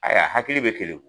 Ayiwa hakili bɛ keleku